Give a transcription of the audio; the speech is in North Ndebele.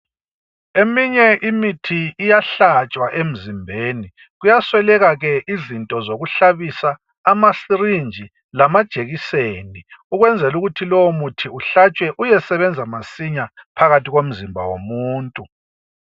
Eminye imithi iyahlatshwa emzimbeni kuyasweleka ke izinto zoku hlabisa ama sirinji lamajekiseni ukwenzela ukuthi lowo muthi uhlatshwe uyesebenza masinya phakathi komzimba womuntu.